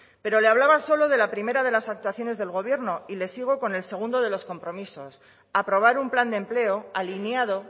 pero le hablaba solo de la primera de las actuaciones del gobierno y le sigo con el segundo de los compromisos aprobar un plan de empleo alineado